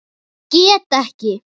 Get ekki.